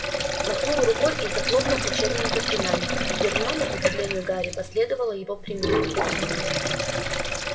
махнул рукой и захлопнул учебник заклинаний гермиона к удивлению гарри последовала его примеру